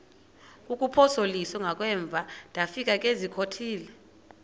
kuphosiliso kwangaemva ndafikezizikotile